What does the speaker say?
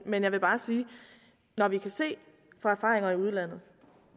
men jeg vil bare sige at når vi kan se fra erfaringer i udlandet